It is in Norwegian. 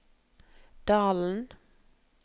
Dalen